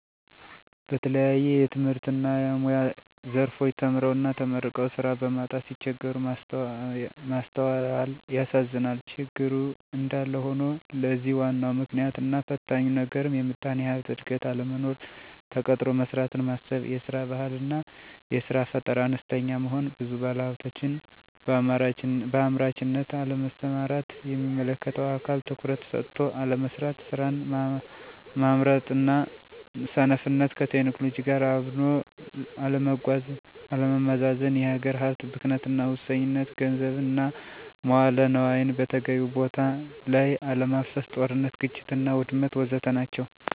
በተለያየ የትምህርትና የሙያ ዘርፎች ተምረውና ተመርቀው ስራ በማጣት ሲቸገሩ ማስተዋላል ያሳዝናል። ችግሩ እንዳለ ሆኖ ለዚህ ዋናው ምክንያትና ፈታኙ ነገርም የምጣኔ ሀብት እድገት አለመኖር፣ ተቀጥሮ መስራትን ማሰብ፤ የስራ ባህል አና የስራ ፈጠራ አነስተኛ መሆን፤ ብዙ ባለሀብቶች በአምራችነት አለመሰማራት፤ የሚመለከተው አካል ትኩረት ሰጥቶ አለመስራት፤ ስራን ማምረጥና ሰነፍነት፣ ከቴክኖሎጂ ጋራ አብኖ አለመጓዝና አለመዘመን፤ የሀገር ሀብት ብክነትና ሙሰኝነት፣ ገንዘብን እና መዋለ ነዋይን በተገቢው ቦታ ለይ አለማፍሰስ፤ ጦርነት፥ ግጭትና ውድመት ወዘተ ናቸው።